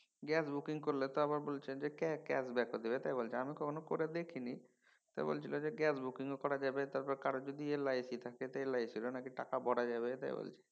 Gas booking করলে তো আবার বলছে যে cash back ও দেবে বলছে। আমি কখনও করে দেখিনি। তো বলছিল যে গ্যান বুকিং করা যাবে তারপর কারো যদি LIC থাকে LIC এর ও নাকি টাকা ভরা যাবে তাই বলছে।